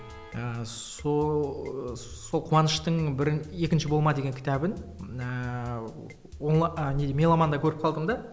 ыыы сол қуаныштың екінші болма деген кітабын ыыы а неде меломанда көріп қалдым да